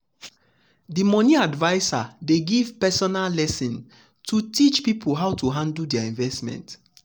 the money adviser dey give personal lesson to teach people how to handle their investment.